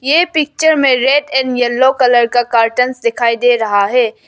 ये पिक्चर में red and yellow colour का कार्टंस दिखाई दे रहा है।